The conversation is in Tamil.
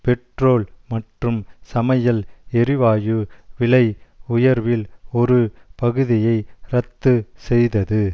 பெட்ரோல் மற்றும் சமையல் எரிவாயு விலை உயர்வில் ஒரு பகுதியை இரத்து செய்தது